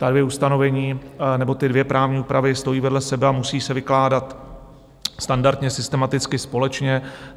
Ta dvě ustanovení nebo ty dvě právní úpravy stojí vedle sebe a musí se vykládat standardně, systematicky, společně.